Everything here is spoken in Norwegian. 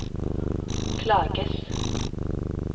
klages